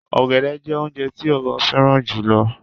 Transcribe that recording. ògẹ̀dẹ̀ jẹ́ ọ̀unjẹ̀ tì òbọ̀ fẹran jùlọ̀.